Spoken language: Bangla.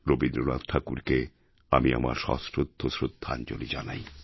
রবীন্দ্রনাথ ঠাকুরকে আমি আমার সশ্রদ্ধ শ্রদ্ধাঞ্জলি জানাই